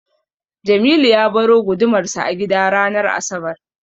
Jamilu ya baro gudumarsa a gida ranar asabar.